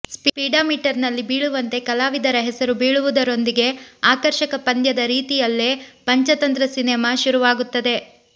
ಸ್ಪೀಡಾ ಮೀಟರ್ನಲ್ಲಿ ಬೀಳುವಂತೆ ಕಲಾವಿದರ ಹೆಸರು ಬೀಳುವುದರೊಂದಿಗೆ ಆಕರ್ಷಕ ಪಂದ್ಯದ ರೀತಿಯಲ್ಲೇ ಪಂಚತಂತ್ರ ಸಿನೆಮಾ ಶುರುವಾಗುತ್ತದೆ